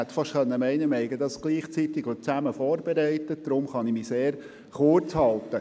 Man könnte meinen, wir hätten unsere Voten gemeinsam vorbereitet, deshalb kann ich mich sehr kurz halten.